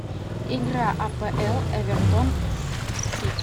игра апл эвертон с сити